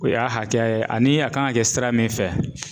O y'a hakɛya ye ani a kan ka kɛ sira min fɛ